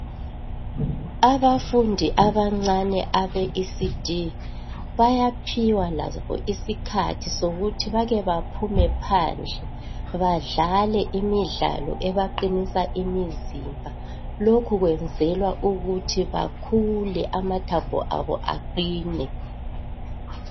Abafundi abancani abeECD bayaphiwa labo iskhathi sokubana bake baphume phandle badlale imidlalo ebaqinisa imizimba lokhu bakwenzela ukuthi bakhule amathambo aqine